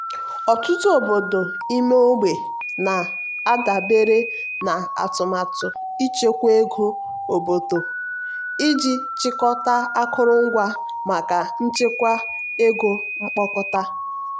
ọtụtụ obodo ime ogbe na-adabere na atụmatụ ichekwa ego obodo iji chịkọta akụrụngwa maka nchekwa ego mkpokọta.